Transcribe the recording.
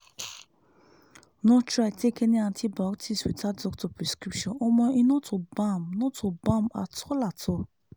no try take any antibiotics without doctor prescription omo e no to bam no to bam at all at all."